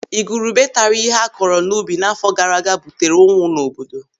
Igurube taara ihe a kọrọ n'ubi n'àfọ́ gaara aga butere ụnwụ n'obodo.